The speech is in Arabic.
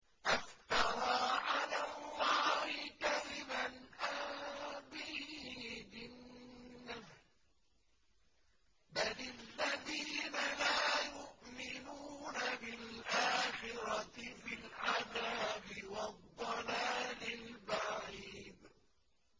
أَفْتَرَىٰ عَلَى اللَّهِ كَذِبًا أَم بِهِ جِنَّةٌ ۗ بَلِ الَّذِينَ لَا يُؤْمِنُونَ بِالْآخِرَةِ فِي الْعَذَابِ وَالضَّلَالِ الْبَعِيدِ